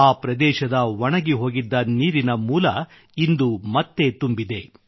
ಆ ಪ್ರದೇಶದ ಒಣಗಿಹೋಗಿದ್ದ ನೀರಿನ ಮೂಲ ಇಂದು ಮತ್ತೆ ತುಂಬಿದೆ